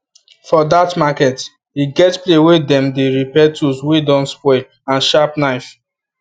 for that makert e get place wey them repair tools wey don spoil and sharp knives